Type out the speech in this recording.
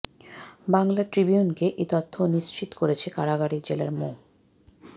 বাংলা ট্রিবিউনকে এ তথ্য নিশ্চিত করেছেন কারাগারের জেলার মো